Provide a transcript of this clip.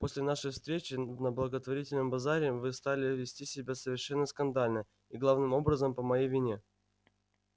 после нашей встречи на благотворительном базаре вы стали вести себя совершенно скандально и главным образом по моей вине